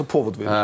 Po verir.